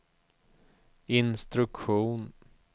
instruktion